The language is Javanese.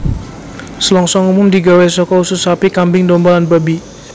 Selongsong umum digawé saka usus sapi kambing domba lan babi